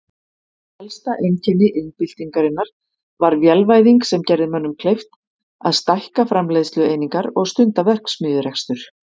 Helsta einkenni iðnbyltingarinnar var vélvæðing sem gerði mönnum kleift að stækka framleiðslueiningar og stunda verksmiðjurekstur.